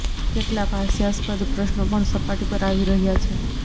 કેટલાક હાસ્યાસ્પદ પ્રશ્નો પણ સપાટી પર આવી રહ્યા છે